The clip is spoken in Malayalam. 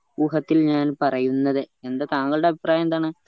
ഊഹത്തിൽ ഞാൻ പറയുന്നത് എന്താ താങ്കളുടെ അഭിപ്രായം എന്താണ്